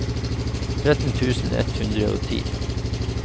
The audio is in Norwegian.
tretten tusen ett hundre og ti